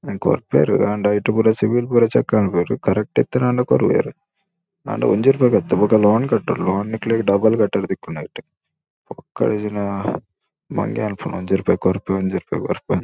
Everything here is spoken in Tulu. ಕೊರ್ಪೆರ್ ಆಂಡ ಐಟ್ ಪುರ ಸಿಬಿಲ್ ಪುರ ಚೆಕ್ ಮನ್ಪುವೆರ್ ಕರೆಕ್ಟ್ ಇತ್ತ್ ನಾಂಡ ಕೊರುವೆರ್ ಆಂಡ ಒಂಜಿ ಒಂಜಿ ರೂಪಾಯಿಗ್ ಅತ್ತ್ ಬೊಕ ಲೋನ್ ಕಟ್ಟೊಡು. ಲೋನ್ ನಿಕ್ಲೆಗ್ ಡಬಲ್ ಕಟ್ಟೆರೆ ತಿಕ್ಕುಂಡು ಐಟ್ ಪೊಕ್ಕಡೆ ಇಜಿಂಡ ಮಂಗೆ ಮನ್ಪುನು ಒಂಜಿ ರೂಪಾಯಿ ಕೊರ್ಪೆ ಒಂಜಿ ರೂಪಾಯಿ ಕೊರ್ಪೆಂದ್--